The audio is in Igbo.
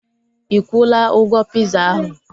Ikwula ụgwọ piza ahu?